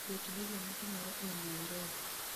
Ket gigo matimore e Nairobi